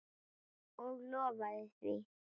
Og lofaði því.